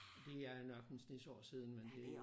Og det er nok en snes år siden men det